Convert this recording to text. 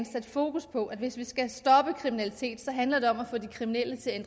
sat fokus på at hvis vi skal stoppe kriminalitet handler det om at få de kriminelle til at